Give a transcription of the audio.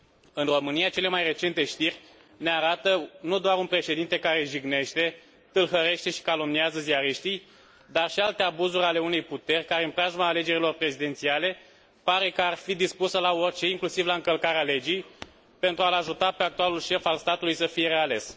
În România, cele mai recente știri ne arată nu doar un președinte care jignește, tâlhărește și calomniază ziariștii, dar și alte abuzuri ale unei puteri care în preajma alegerilor prezidențiale pare că ar fi dispusă la orice, inclusiv la încălcarea legii pentru a l ajuta pe actualul șef al statului să fie reales.